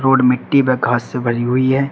Road मिट्टी व घास से भरी हुई है।